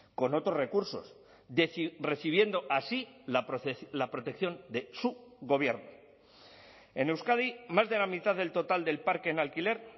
con otros recursos recibiendo así la protección de su gobierno en euskadi más de la mitad del total del parque en alquiler